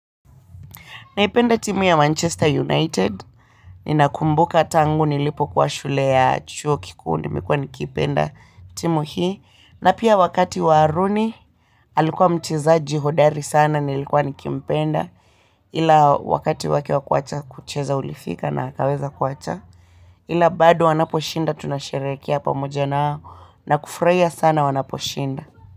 Ninaipenda timu ya Manchester United, ninakumbuka tangu nilipokuwa shule ya chuo kikuu nimekuwa nikiipenda timu hii. Na pia wakati wa Rooney, alikuwa mchezaji hodari sana, nilikuwa nikimpenda, ila wakati wake wa kuwacha kucheza ulifika na akaweza kuwacha. Ila bado wanaposhinda tunasherehekea pamoja nao na kufurahia sana wanaposhinda.